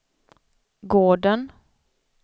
gården